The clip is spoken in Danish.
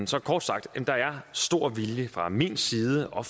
så kort sagt der er stor velvilje fra min side og